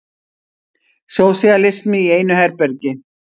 Sósíalismi í einu herbergi.